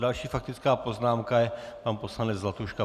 Další faktická poznámka je pan poslanec Zlatuška.